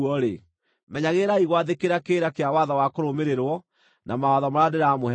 menyagĩrĩrai gwathĩkĩra kĩrĩra kĩa watho wa kũrũmĩrĩrwo, na mawatho marĩa ndĩramũhe ũmũthĩ.